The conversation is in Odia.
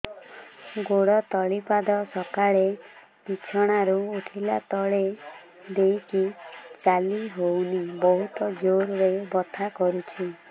ଗୋଡ ତଳି ପାଦ ସକାଳେ ବିଛଣା ରୁ ଉଠିଲେ ତଳେ ଦେଇକି ଚାଲିହଉନି ବହୁତ ଜୋର ରେ ବଥା କରୁଛି